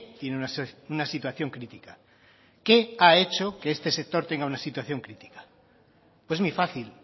tiene una situación crítica qué ha hecho que este sector tenga una situación crítica pues muy fácil